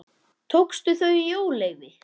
Tókstu þau í óleyfi?